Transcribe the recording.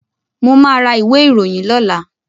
Mo máa ra ìwé ìròyìn lọ́làá.